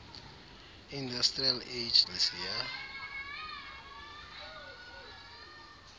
industrial age lisiya